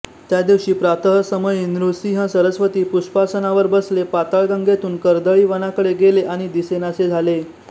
त्या दिवशी प्रातःसमयी नृसिंह सरस्वती पुष्पासनावर बसले पाताळगंगेतून कर्दळीवनाकडे गेले आणि दिसेनासे झाले